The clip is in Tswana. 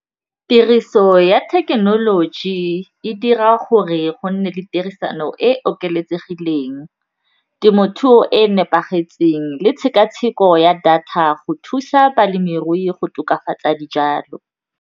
Tiriso ya thekenoloji e dira gore go nne le tirisano e okeletsegileng, temothuo e e nepagetseng le tshekatsheko ya data go thusa balemirui go tokafatsa dijalo.